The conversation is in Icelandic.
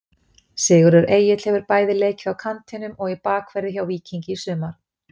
Sigurður Egill hefur bæði leikið á kantinum og í bakverði hjá Víkingi í sumar.